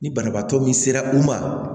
Ni banabaatɔ min sera u ma